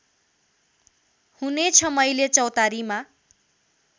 हुनेछ मैले चौतारीमा